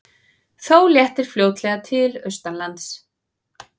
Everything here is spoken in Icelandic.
Þó léttir fljótlega til austanlands